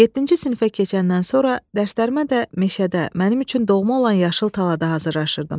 Yeddinci sinifə keçəndən sonra dərslərimə də meşədə, mənim üçün doğma olan yaşıl talada hazırllaşırdım.